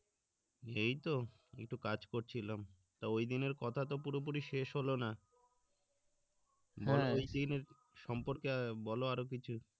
এইতো একটু কাজ করছিলাম তা ঐ দিনের কাথাতো পুরোপুরি শেষ হলো না ঐদিনের সম্পর্কে অ্যাঁ বলো আরো কিছু